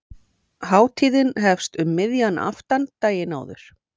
Hátíðin hefst um miðjan aftan daginn áður.